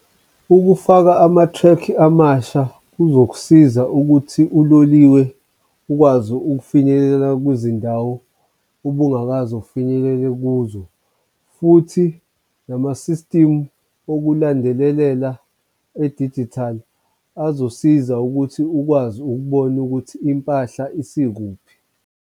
Ukufaka ama-threkhi amasha kuzokusiza ukuthi uloliwe ukwazi ukufinyelele kwizindawo ubungakaze ufinyelela kuzo, futhi nama-system okulandelelela edijithali azosiza ukuthi ukwazi ukubona ukuthi impahla isikuphi.